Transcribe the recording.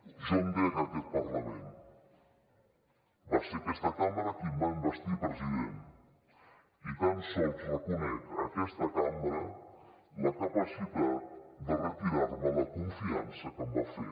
jo em dec a aquest parlament va ser aquesta cambra qui em va investir president i tan sols reconec a aquesta cambra la capacitat de retirar me la confiança que em va fer